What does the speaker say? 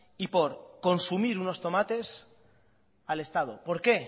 y por consumir unos tomates al estado por qué